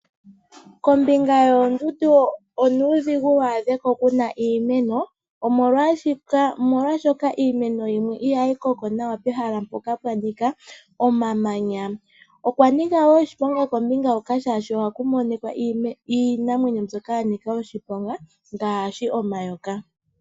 Kombinga yoondundu onuudhigu waadheko kuna iiimeno omolwashoka iimeno yimwe ihayi koko nawa pehala mpoka pwa Nika omamanya moo Nika woo iinamwenyo mbyoka ya nika oshiponga ngaashi omayoka.